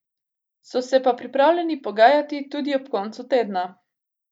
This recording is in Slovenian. So se pa pripravljeni pogajati tudi ob koncu tedna.